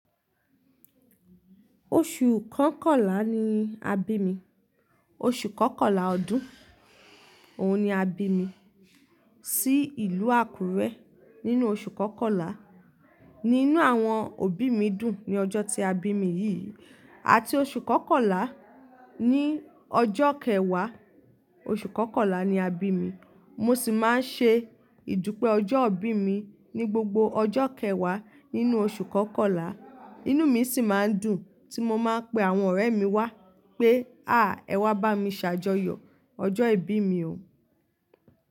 Oṣù kọkànlá ni à bí mi, oṣù kọkànlá ọdún, òun ni à bí mi. Sí ìlú Àkúrẹ́ nínú oṣù kọkànlá. Ní inú àwọn òbí mi dùn ní ọjọ́ tí a bí mi yìí, àti oṣù kọkànlá ní ọjọ́ kẹwá, oṣù kọkànlá ni àbí mi. Mo sì máa ń ṣe ìdúpẹ́ ọjọ́ ibí mi ní gbogbo ọjọ́ kẹwá nínú oṣù kọkànlá. Inú mi sì máa ń dùn tí mo máa ń pé àwọn ọ̀rẹ́ mi wá pé "à! Ẹ wá bá mi ṣàjọyọ̀ ọjọ́ ìbí mi o".